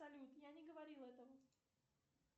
салют я не говорила этого